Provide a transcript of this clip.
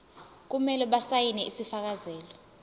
kumele basayine isifakazelo